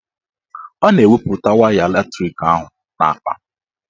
Ọ na-eweputa waya latrik ahụ n'akpa